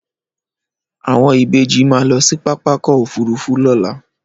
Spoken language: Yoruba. Àwọn Ìbejì máa lọ sí pápákọ̀ òfúrufú lọla